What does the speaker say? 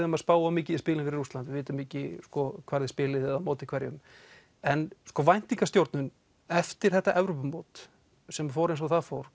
um að spá of mikið í spilin fyrir Rússland við vitum ekki hvar þið spilið eða á móti hverjum en væntingastjórnun eftir þetta Evrópumót sem fór eins og það fór